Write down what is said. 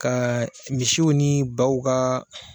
Ka misiw ni baw ka